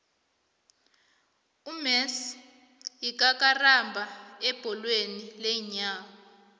umessie yikakarambha ebholweni leenyawo